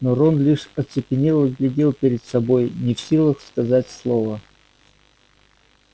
но рон лишь оцепенело глядел перед собой не в силах сказать слова